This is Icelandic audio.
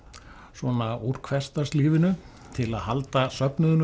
svona úr hversdagslífinu til að halda söfnuðunum